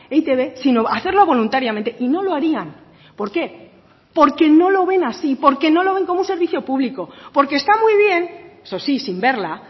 e i te be sino hacerlo voluntariamente y no lo harían por qué porque no lo ven así porque no lo ven como un servicio público porque está muy bien eso sí sin verla